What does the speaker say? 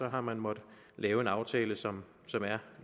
har man måttet lave en aftale som som er